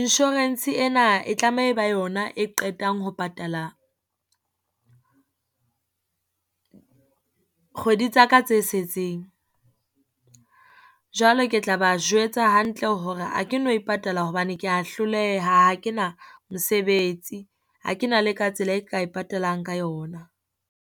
insurance ena e tlameha ba yona e qetang ho patala kgwedi tsa ka tse setseng. Jwale ke tla ba jwetsa hantle hore ha ke no e patala hobane ke ya hloleha, ha ke na mosebetsi ha ke na le ka tsela e ka e patalang ka yona.